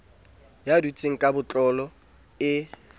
ya dutseng ka botlolo e